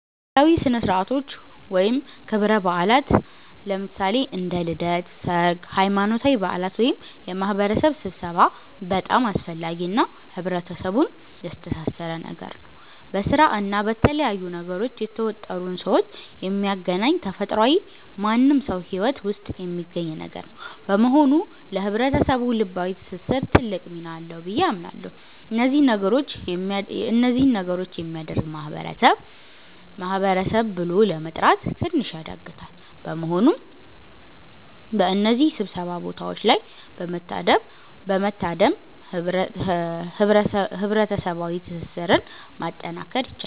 ባህላዊ ሥነ ሥርዓቶች ወይም ክብረ በዓላት (እንደ ልደት፣ ሠርግ፣ ሃይማኖታዊ በዓላት )ወይም የማህበረሰብ ስብሠባ በጣም አስፈላጊ እና ህብረተሰቡን ያስተሣሠረ ነገር ነው። በስራ እና በተለያዩ ነገሮች የተወጠሩን ሠዎች የሚያገናኝ ተፈጥሯዊ ማንም ሠው ሂወት ውስጥ የሚገኝ ነገር ነው። በመሆኑ ለህብረተሰቡ ልባዊ ትስስር ትልቅ ሚና አለው ብዬ አምናለሁ። እነዚህ ነገሮች የሚያደርግ ማህበረሰብ ማህበረሰብ ብሎ ለመጥራት ትንሽ ያዳግታል። በመሆኑም በእነዚህ ሥብሰባ ቦታዎች ላይ በመታደም ህብረሠባዋ ትስስርን ማጠናከር ይቻላል።